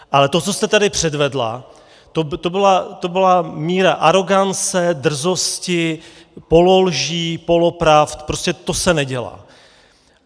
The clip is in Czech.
Ale to, co jste tady předvedla, to byla míra arogance, drzosti, pololží, polopravd, prostě to se nedělá.